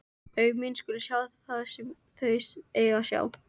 Augu mín skulu sjá það sem þau eiga að sjá.